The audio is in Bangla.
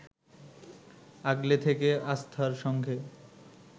আগলে থেকে আস্থার সঙ্গে